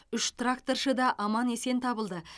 үш тракторшы да аман есен табылды